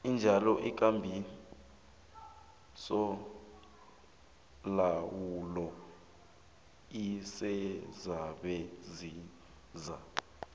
kunjalo ikambisolawulo isezabasiza